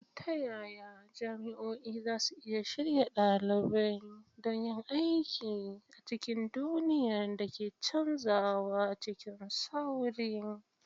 Ta yaya jami'o'i za su iya shirya ɗalibai don yin aiki a cikin duniyar da ke canzawa cikin sauri?